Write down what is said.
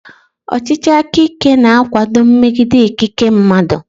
Ọchịchị aka ike na-akwado mmegide ikike mmadụ.